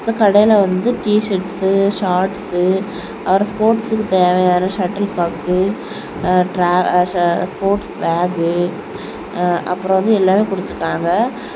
இந்த கடையில வந்து டீசர்ட்ஸ் ஷார்ட்ஸ் அப்புறம் ஸ்போர்ட்ஸ்க்கு தேவையான சட்டில் காக்கு ஸ்போர்ட்ஸ் பேக் அப்புறம் வந்து எல்லாமே கொடுத்திருக்காங்க.